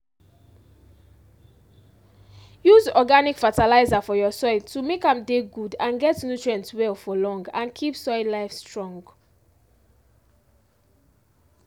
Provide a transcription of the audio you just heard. use organic fertilizer for your soil to make am dey good and get nutrient well for long and keep soil life strong